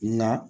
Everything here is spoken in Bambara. Nka